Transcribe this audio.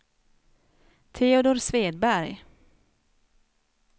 Teodor Svedberg